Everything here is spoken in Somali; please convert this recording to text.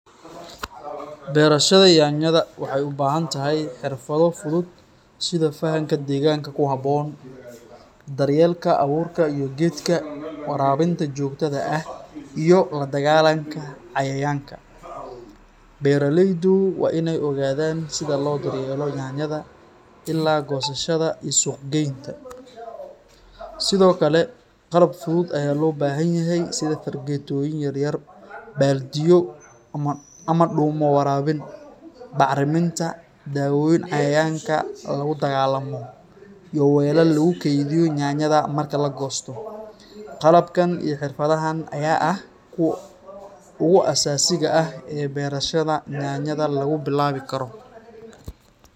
Beerashada yaanyada waxay u baahan tahay xirfado fudud sida fahamka deegaanka ku habboon, daryeelka abuurka iyo geedka, waraabinta joogtada ah, iyo la dagaalanka cayayaanka. Beeraleydu waa in ay ogaadaan sida loo daryeelo yaanyada ilaa goosashada iyo suuq-geynta. Sidoo kale, qalab fudud ayaa loo baahan yahay sida fargeetooyin yar yar, baaldiyo ama dhuumo waraabin, bacriminta, dawooyin cayayaanka lagula dagaalamo, iyo weelal lagu kaydiyo yaanyada marka la goosto. Qalabkan iyo xirfadahan ayaa ah kuwa ugu aasaasiga ah ee beerashada yaanyada lagu bilaabi karo.